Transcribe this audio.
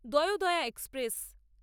Dayodaya express